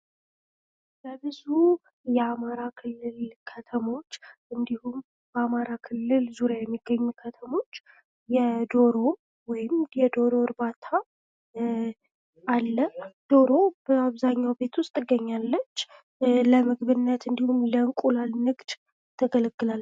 በብዙ የአማራ ክልል ከተሞች እንዲሁም በአማራ ክልል ዙሪያ የሚገኙ ከተሞች የዶሮ ወይም የዶሮ እርባታ አለ:: ዶሮ በአብዛኛው ቤት ዉስጥ ትገኛለች:: ለምግብነት እንዲሁም ለእንቁላል ንግድ ታገለግላለች::